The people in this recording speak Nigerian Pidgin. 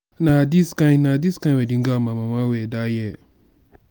na dis kind na dis kind wedding gown my mama wear dat year.